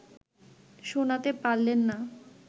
শোনাতে পারলেন না